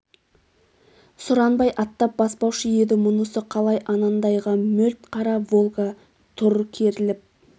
сұранбай аттап баспаушы еді мұнысы қалай анандайда мөлт қара волга тұр керіліп